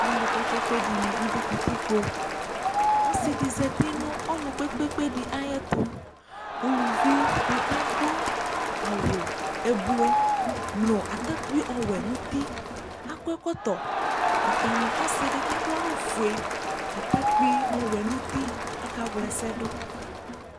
Alu kpekpekpe dini adʋ katikpoƆsi di zati nʋ ɔnu kpekpekpe di ayɛtuUluvi di kakʋ awu ublu nu atakpi ɔwɛ nuti Akɔ ɛkɔtɔ Ɔta nu ɔsidi kaɖʋ awu fue, atakpi ɔwɛ nuti akawlɛsɛdu